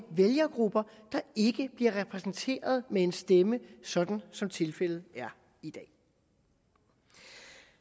vælgergrupper der ikke bliver repræsenteret med en stemme sådan som tilfældet er i dag